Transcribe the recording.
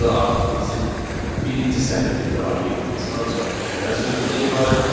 Burada artıq bizim birinci sətr tipli obyektimiz ancaq mən sözündən ibarətdir.